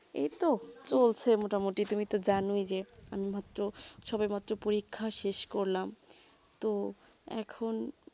এইতো চলছে মোটামোটি তুমি তো জানো ই যে আমি মাত্র সবাই মাত্র পরীক্ষা শেষ করলাম তো এখন